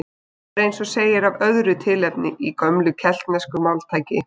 Það er eins og segir af öðru tilefni í gömlu keltnesku máltæki